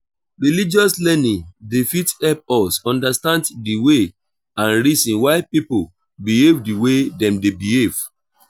religious learning dey fit help us understand di way and reason why pipo behave di way dem dey behave